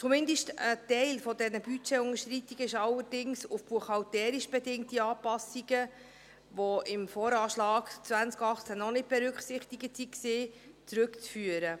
Zumindest ein Teil dieser Budgetunterschreitungen ist allerdings auf buchhalterisch bedingte Anpassungen, die im VA 2018 noch nicht berücksichtigt waren, zurückzuführen.